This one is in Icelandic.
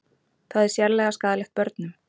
Það er sérlega skaðlegt börnum